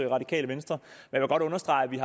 radikale venstre jeg vil godt understrege at vi